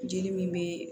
Jeli min be